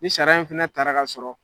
Ni sariya in fɛnɛ tara k'a sɔrɔ